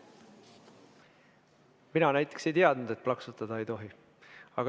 Mina näiteks ei teadnud, et plaksutada ei tohi.